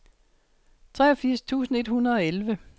treogfirs tusind et hundrede og elleve